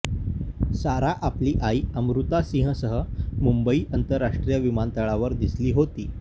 सारा आपली आई अमृता सिंहसह मुंबई आंतरराष्ट्रीय विमानतळावर दिसली होती